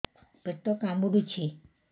ପେଟ କାମୁଡୁଛି